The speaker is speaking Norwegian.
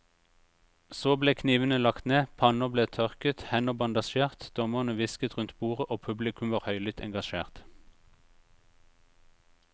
Så ble knivene lagt ned, panner ble tørket, hender bandasjert, dommerne hvisket rundt bordet og publikum var høylytt engasjert.